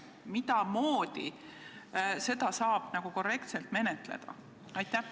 Kuidas saab seda korrektselt menetleda?